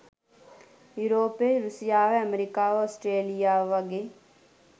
යුරෝපය රුසියාව ඇමරිකාව ඔස්ට්‍රේලියාව වගේ